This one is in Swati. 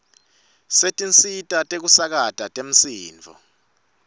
setinsita tekusakata temsindvo